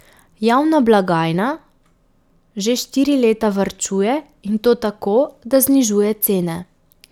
Javna blagajna že štiri leta varčuje, in to tako, da znižuje cene.